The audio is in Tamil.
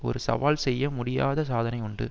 ஒரு சவால் செய்யமுடியாத சாதனை உண்டு